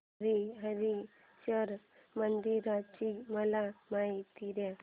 हरीहरेश्वर मंदिराची मला माहिती दे